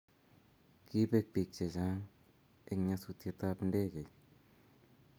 Kipek pik che chanh en nyasutet ab ndekeit